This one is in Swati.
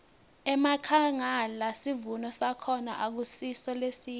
enkhangala sivuno sakhona akusiso lesihle